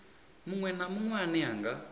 munwe na munwe ane nga